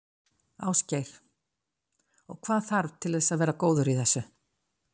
Ásgeir: Og hvað þarf til þess að vera góður í þessu?